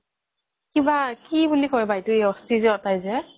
কিবা কি বুলি কয় বা এই অস্থি যে উতাই যে